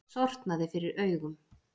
Sortnaði fyrir augum.